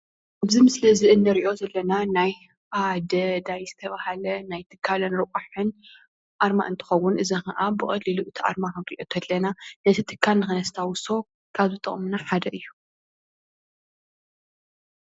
እዚ ምስሊ እዚ እንሪኦ ዘለና ናይ ኣደዳይ ዝተብሃለ ናይ ትካልን ልቃሕን ኣርማ እንትከውን እዚ ክዓ ብቀሊሉ ነቲ ኣርማ ክንሪኦ ከለና ነቲ ትካል ክነስታውሶ ካብ ዝጠቅሙና ሓደ እዩ::